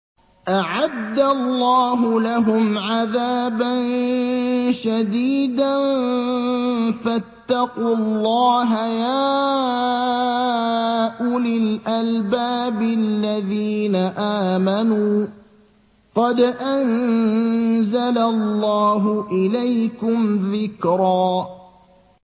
أَعَدَّ اللَّهُ لَهُمْ عَذَابًا شَدِيدًا ۖ فَاتَّقُوا اللَّهَ يَا أُولِي الْأَلْبَابِ الَّذِينَ آمَنُوا ۚ قَدْ أَنزَلَ اللَّهُ إِلَيْكُمْ ذِكْرًا